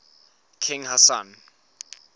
king hassan